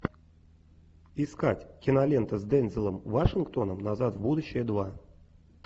искать кинолента с дензелом вашингтоном назад в будущее два